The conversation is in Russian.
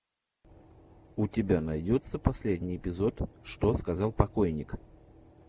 у тебя найдется последний эпизод что сказал покойник